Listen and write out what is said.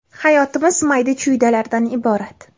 Hayotimiz mayda-chuydalardan iborat.